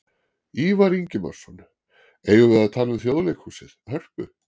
Ívar Ingimarsson: Eigum við að tala um Þjóðleikhúsið, Hörpu?